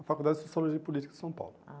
A Faculdade de Sociologia e Política de São Paulo. Ah